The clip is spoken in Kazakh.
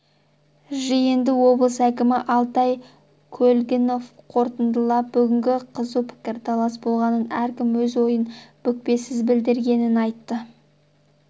жиынды облыс әкімі алтай көлгінов қорытындылап бүгін қызу пікірталас болғанын әркім өз ойын бүкпесіз білдіргенін айтты